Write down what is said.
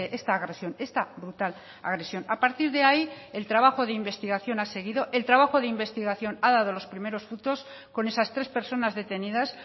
esta agresión esta brutal agresión a partir de ahí el trabajo de investigación ha seguido el trabajo de investigación ha dado los primeros frutos con esas tres personas detenidas